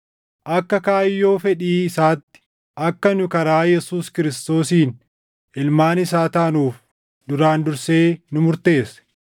akka kaayyoo fedhii isaatti akka nu karaa Yesuus Kiristoosiin ilmaan isaa taanuuf duraan dursee nu murteesse;